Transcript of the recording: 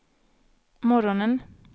morgonen